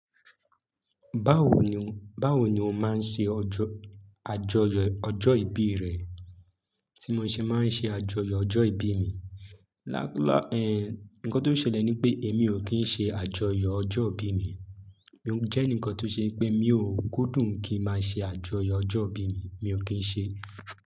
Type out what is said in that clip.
Báwo ni, báwo ni o máa ń ṣe ọjọ́ àjọyọ̀ ọjọ́ ìbí rẹ? Tí mo ṣe máa ń ṣe àjọyọ̀ ọjọ́ ìbí mi. Láíláí, ehn, nǹkan tó ṣẹlẹ̀ ni pé èmi ò kí ń ṣe àjọyọ̀ ọjọ́ ìbí mi. Mo jè nìkan tóò ṣe pe, mi ò kúndùn ki má ṣe àjọyọ̀ ọjọ́ ìbí mì. Mi ò kí ń ṣe.